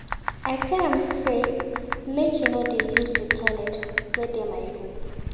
I tell am sey make he no dey use di toilet wey dey my room.